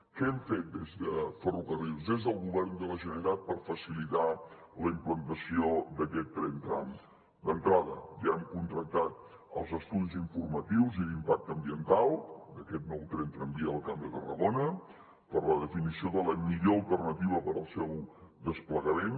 què hem fet des de ferrocarrils des del govern de la generalitat per facilitar la implantació d’aquest tren tram d’entrada ja hem contractat els estudis informatius i d’impacte ambiental d’aquest nou tren tramvia del camp de tarragona per a la definició de la millor alternativa per al seu desplegament